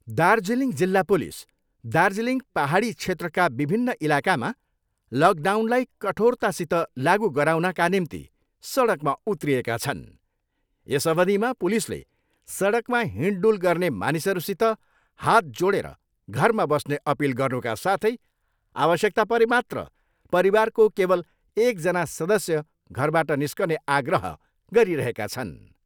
दार्जिलिङ जिल्ला पुलिस दार्जिलिङ पाहाडी क्षेत्रका विभिन्न इलाकामा लकडाउनलाई कठोरतासित लागु गराउनका निम्ति सडकमा उत्रिएका छन्। यस अवधिमा पुलिसले सडकमा हिँड्डुल गर्ने मानिसहरूसित हात जोडेर घरमा बस्ने अपिल गर्नुका साथै आवश्यकता परे मात्र परिवारको केवल एकजना सदस्य घरबाट निस्कने आग्रह गरिरहेका छन्।